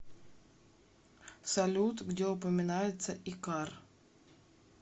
салют где упоминается икар